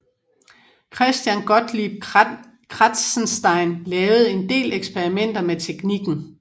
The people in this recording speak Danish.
Christian Gottlieb Kratzenstein lavede en del eksperimenter med teknikken